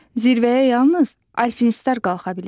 Zirvəyə yalnız alpinistlər qalxa bilir.